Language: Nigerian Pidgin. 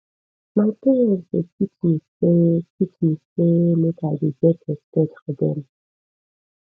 my parents dey teach me sey teach me sey make i dey get respect for dem